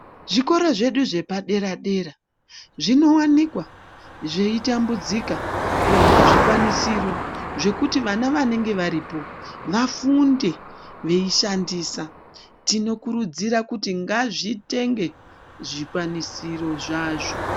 Zvikoro zvedu zvepadera-dera, zvinowanikwa zveitambudzika kuwana zvikwanisiro, zvekuti vana vanenge varipo, vafunde veishandisa. Tinokurudzira kuti ngazvitenge zvikwanisiro zvazvo.